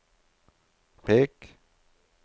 pek